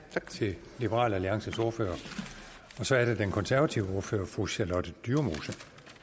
til liberal alliances ordfører så er det den konservative ordfører fru charlotte dyremose